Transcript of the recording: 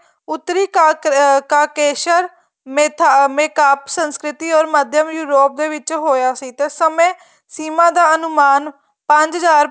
ਉੱਤਰੀ ਕਾ ਅਹ ਕਾਕੇਸ਼ਰ ਸੰਸਕ੍ਰਿਤੀ ਔਰ ਮੱਧਵ ਯੋਰੂਪ ਦੇ ਵਿੱਚ ਹੋਇਆ ਸੀ ਤੇ ਸਮੇਂ ਸੀਮਾਂ ਦਾ ਅਨੁਮਾਨ ਪੰਜ ਹਜ਼ਾਰ